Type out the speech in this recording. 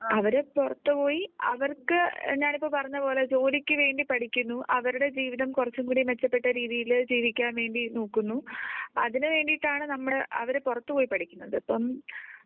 അവര് പുറത്തു പോയി അവർക്ക് ഞാൻ ഇപ്പോൾ പറഞ്ഞ പോലെ ജോലിക്ക് വേണ്ടി പഠിക്കുന്നു അവരുടെ ജീവിതം കുറച്ചുകൂടി മെച്ചപ്പെട്ട രീതിയിൽ ജീവിക്കാൻ വേണ്ടി നോക്കുന്നു അതിന് വേണ്ടിയിട്ടാണ് നമ്മുടെ അവരെ പുറത്തുപോയി പഠിക്കുന്നത്. ഇപ്പം